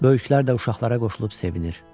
Böyüklər də uşaqlara qoşulub sevinir.